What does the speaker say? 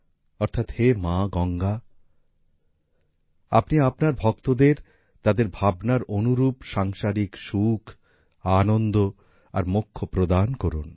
অর্থাৎ হে মা গঙ্গা আপনি আপনার ভক্তদের তাদের ভাবনার অনুরূপ সাংসারিক সুখ আনন্দ আর মোক্ষ প্রদান করুন